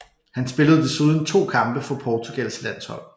Han spillede desuden to kampe for Portugals landshold